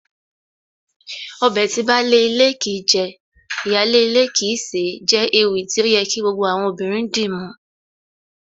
Ọbẹ̀ tí baálé ilé kìí jẹ, ìyáálé ilé kìí sè é jẹ́ ewì tí ó yẹ kí gbogbo obìnrin dìmú